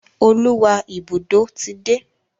Oluwa Ibùdó tí dé.